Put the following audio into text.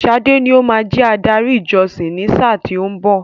Sade ní o máa jẹ adarí ìjọsìn ni sáà tí ó ń bọ̀.